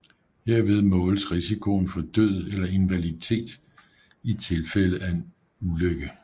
Herved måles risikoen for død eller invaliditet i tilfælde af en ulykke